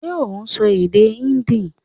Ṣé ò n sọ èdè Híndì